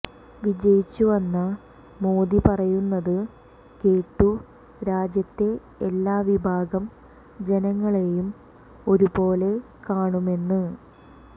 വിജയിച്ചു വന്ന മോദി പറയുന്നത് കേട്ടു രാജ്യത്തെ എല്ലാ വിഭാഗം ജനങ്ങളെയും ഒരു പോലെ കാണുമെന്ന്